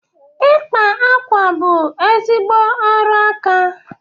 Ịkpa akwa bụ ezigbo ọrụ aka.